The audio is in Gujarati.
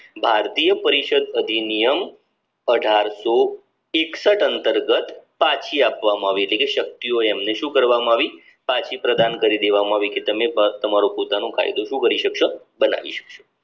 ભારતીય પરિષદ અધિનિયમ અઢારસો એકસઠ અંતર્ગત પછી આપવામાં આવી એટલે કે શક્તિઓ એમને શું કરવામાં આવી પછી પ્રદાન કરી દેવાં આવી કે તમે બસ તમારો પોતાનો કાયદો શું કરી શકશો બનાવી શકશો